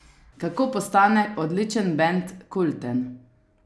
Kako postane odličen bend kulten?